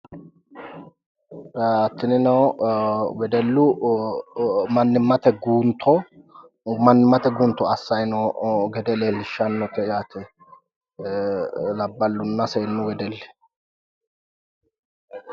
ee tinino wedellu mannimate guunto assayi no gede leellishshanno te yaate labbalunna seennu wedelli.